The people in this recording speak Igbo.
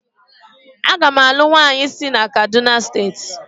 Agam alu nwanyi si kaduna state